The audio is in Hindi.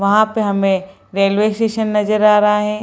वहाँ पे हमें रेलवे स्टेशन नजर आ रहे हैं।